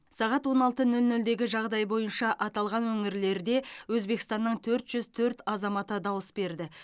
сағат он алты нөл нөлдегі жағдай бойынша аталған өңірлерде өзбекстанның төрт жүз төрт азаматы дауыс берді